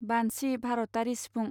बान्सि भारतारि सिफुं